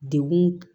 Dekun